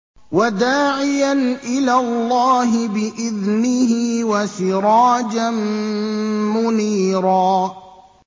وَدَاعِيًا إِلَى اللَّهِ بِإِذْنِهِ وَسِرَاجًا مُّنِيرًا